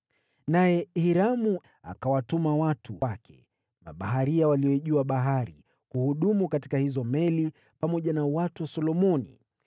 Naye Hiramu akawatuma watu wake; mabaharia walioijua bahari, kuhudumu katika hizo meli pamoja na watu wa Solomoni.